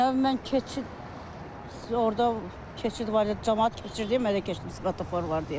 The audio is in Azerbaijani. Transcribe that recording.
Növbə mən keçid orda keçid var idi, camaat keçirdi deyə mən də keçdim svetofor var deyə.